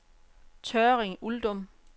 Tørring-Uldum